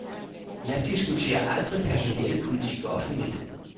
Jeg diskuterer aldrig personalepolitik offentligt.